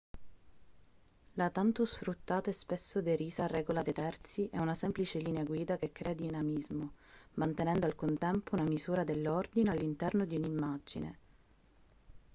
la tanto sfruttata e spesso derisa regola dei terzi è una semplice linea guida che crea dinamismo mantenendo al contempo una misura dell'ordine all'interno di un'immagine